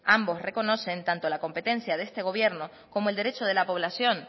ambos reconocen tanto la competencia de este gobierno como el derecho de la población